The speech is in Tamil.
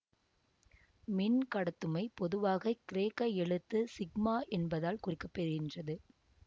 மின்கடத்துமை பொதுவாக கிரேக்க எழுத்து ஃசிக்மா என்பதால் குறிக்க பெறுகின்றது